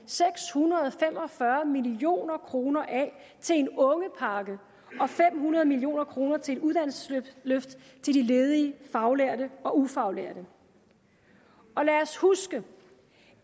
seks hundrede og fem og fyrre million kroner af til en ungepakke og fem hundrede million kroner til et uddannelsesløft til de ledige faglærte og ufaglærte og lad os huske